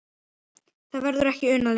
Því verður ekki unað lengur.